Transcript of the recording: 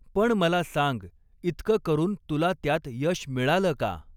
पण मला सांग, इतकं करून तुला त्यात यश मिळालं का